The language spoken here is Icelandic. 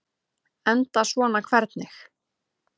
Enda svona hvernig?